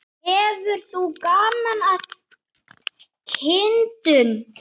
Hefur þú gaman af kindum?